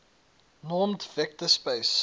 normed vector space